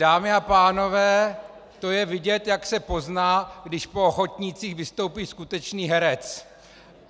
Dámy a pánové, to je vidět, jak se pozná, když po ochotnících vystoupí skutečný herec.